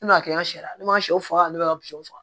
Ne m'a kɛ n ka sɛ ne ma sɛw faga ne b'a ka faga